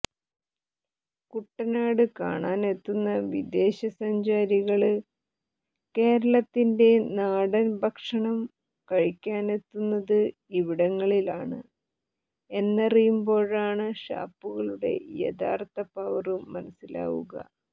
കുട്ടനാട് കാണാനെത്തുന്ന വിദേശ സഞ്ചാരികള് കേരളത്തിന്റെ നാടന് ഭക്ഷണം കഴിക്കാനെത്തുന്നത് ഇവിടങ്ങളിലാണ് എന്നറിയുമ്പോഴാണ് ഷാപ്പുകളുടെ യഥാര്ത്ഥ പവര് മനസിലാവുക